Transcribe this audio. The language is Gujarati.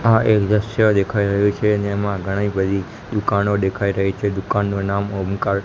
આ એક દ્રશ્ય દેખાય રહ્યું છે જેમાં ઘણી બધી દુકાનો દેખાય રહી છે દુકાનનું નામ ઓમકાર--